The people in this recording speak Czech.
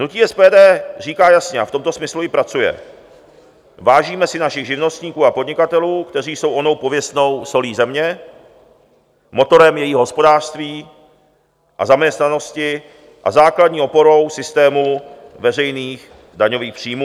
Hnutí SPD říká jasně, a v tomto smyslu i pracuje: vážíme si našich živnostníků a podnikatelů, kteří jsou onou pověstnou solí země, motorem jejího hospodářství a zaměstnanosti a základní oporou systému veřejných daňových příjmů.